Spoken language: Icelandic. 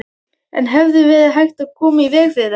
En hefði verið hægt að koma í veg fyrir þetta?